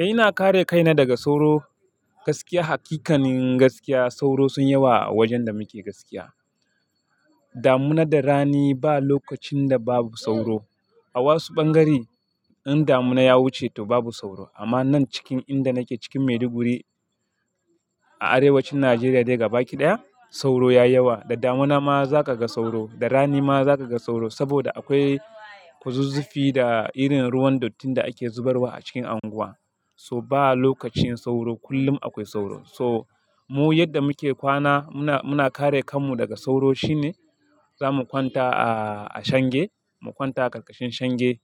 Eh ina kare kaina daga sauro gaskiya hakikanin gaskiya sauro sun yawa a wajen da muke gaskiya. Damuna da rani ba lokacin da babu sauro. A wasu ɓangare in damuna ya wuce to babu sauro amma nan cikin inda nake cikin Maiduguri a arewacin Najeriya dai gabaki ɗaya sauro ya yawa. Da damuna ma za ka ga sauro, da rani ma za ka ga sauro saboda akwai kuzuzufi da irin ruwan dottin da ake zubarwa a cikin unguwa. So ba lokacin sauro kullum akwai sauro. Toh mu yadda muke kwana muna, muna kare kanmu daga sauro shine zamu kwanta a, a shenge, mu kwanta a ƙarƙashin shenge.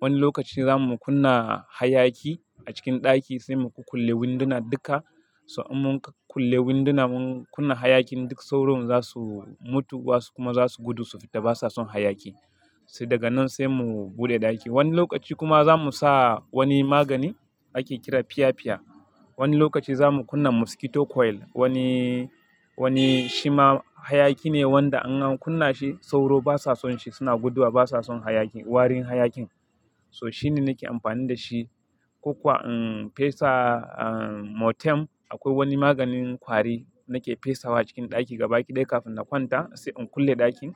Wani lokaci zamu kunna hayaki a cikin ɗaki sai mu kukulle winduna duka. So in mun kulle winduna mun kunna hayakin duk sauro za su mutu wasu kuma za su gudu su fita ba suwa son hayaki. Sai daga nan sai mu buɗe ɗaki. Wani lokaci kuma za mu sa wani magani ake kira fiya-fiya. Wani lokaci za mu kunna mosquito coil wani, wani shima hayaki ne wanda Ana kunna shi sauro ba su son shi suna guduwa ba su son hayaki warin hayakin. So shi ne nake amfani da shi. Kokuwa in fesa ah Mortem akwai wani maganin kwari nake fesawa cikin ɗaki gabaɗaya kafin na kwanta sai in kulle ɗakin.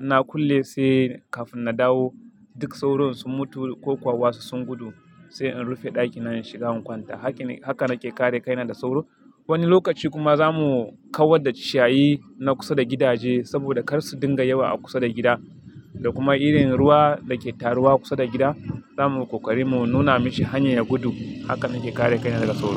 Na kulle sai kafin na dawo duk sauro sun mutu ko kuwa wasu sun gudu sai in rufe ɗakin na in shiga in kwanta. Hake, haka nake kare kaina da sauro. Wani lokaci kuma za mu kawar da shayi na kusa da gidaje saboda kar su dinga yawa a kusa da gida da kuma irin ruwa da ke taruwa kusa da gida. Za mu kokari mu nuna mashi hanyar gudu. Haka nake kare kaina daga sauro.